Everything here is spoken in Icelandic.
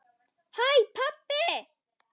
HÆ PABBI!